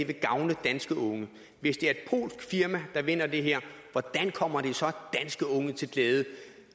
vil gavne danske unge hvis det er et polsk firma der vinder det her hvordan kommer det så danske unge til glæde